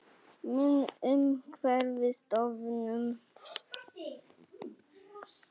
Mynd: Umhverfisstofnun